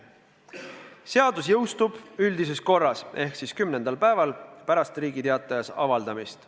Seadus jõustub üldises korras ehk siis kümnendal päeval pärast Riigi Teatajas avaldamist.